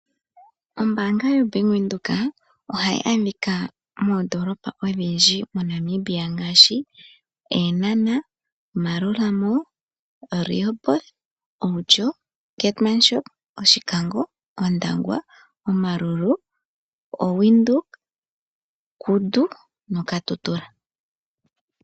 Ombaanga yo Bank Windhoek ohayi adhika moondolopa odhindji moNamibia ngaashi Eenhana, Maerua Mall, Rehoboth, Outjo, Keetmanshoop, Oshikango, Ondangwa, Omaruru, oWindhoek, Kudu no Katutura.